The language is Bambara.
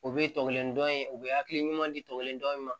U bɛ tɔgɔ kelen dɔn in u bɛ hakili ɲuman di tɔ kelen dɔn min ma